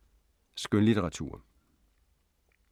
Skønlitteratur